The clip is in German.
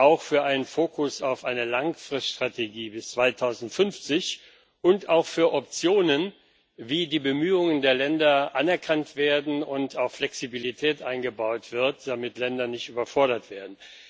auch für einen Fokus auf eine Langfriststrategie bis 2050 und auch für Optionen, wie die Bemühungen der Länder anerkannt werden und auch Flexibilität eingebaut wird, damit Länder nicht überfordert werden.